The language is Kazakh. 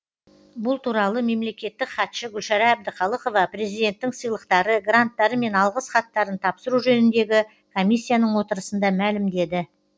бұл туралы мемлекеттік хатшы гүлшара әбдіқалықова президенттің сыйлықтары гранттары мен алғыс хаттарын тапсыру жөніндегі комиссияның отырысында мәлімдеді